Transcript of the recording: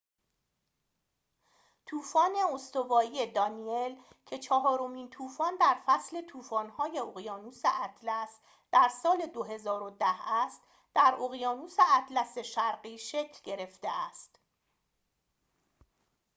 طوفان استوایی دانیل که چهارمین طوفان در فصل طوفان‌های اقیانوس اطلس در سال ۲۰۱۰ است در اقیانوس اطلس شرقی شکل گرفته است